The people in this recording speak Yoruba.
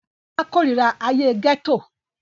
Bọ́lá kórira ayé gẹ́tò